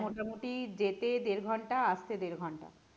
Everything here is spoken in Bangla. আমার মোটামুটি যেতে দেড় ঘন্টা আসতে দেড় ঘন্টা